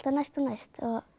næst og næst